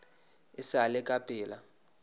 e sa le ka pela